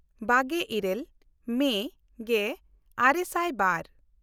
ᱵᱟᱜᱮ ᱤᱨᱟᱹᱞ ᱢᱮ ᱜᱮᱼᱟᱨᱮ ᱥᱟᱭ ᱵᱟᱨ